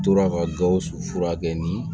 Tora ka gawusu furakɛ ni